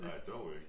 Nej dog ikke